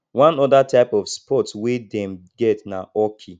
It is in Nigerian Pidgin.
one other type of sports wey dem get na hockey